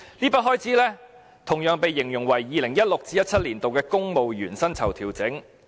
這筆開支的原因同樣形容為 "2016-2017 年度公務員薪酬調整"。